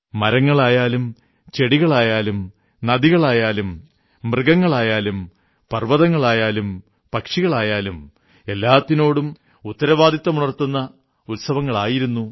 മരങ്ങളായാലും ചെടികളായാലും നദികളായാലും മൃഗങ്ങളായാലും പർവ്വതങ്ങളായാലും പക്ഷികളായായാലും എല്ലാത്തിനോടും ഉത്തരവാദിത്വമുണർത്തുന്ന ഉത്സവങ്ങളായിരുന്നു